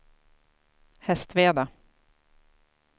Hästveda